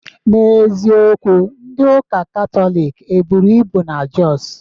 N'eziokwu, ndị uka Katọlik eburu ibu na Josu